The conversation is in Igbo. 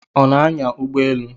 Ọ na-anya ụgbọelu?